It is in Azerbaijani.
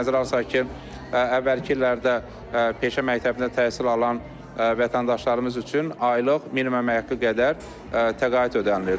Nəzərə alsaq ki, əvvəlki illərdə peşə məktəbində təhsil alan vətəndaşlarımız üçün aylıq minimum əmək haqqı qədər təqaüd ödənilirdi.